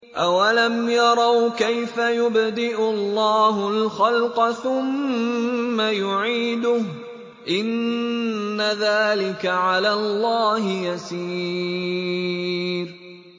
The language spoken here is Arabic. أَوَلَمْ يَرَوْا كَيْفَ يُبْدِئُ اللَّهُ الْخَلْقَ ثُمَّ يُعِيدُهُ ۚ إِنَّ ذَٰلِكَ عَلَى اللَّهِ يَسِيرٌ